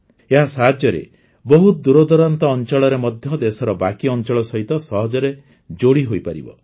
ଏହା ସାହାଯ୍ୟରେ ବହୁତ ଦୂରଦୂରାନ୍ତ ଅଞ୍ଚଳରେ ମଧ୍ୟ ଦେଶର ବାକି ଅଞ୍ଚଳ ସହିତ ସହଜରେ ଯୋଡ଼ିହୋଇପାରିବ